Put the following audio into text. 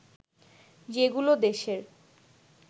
যেগুলো দেশের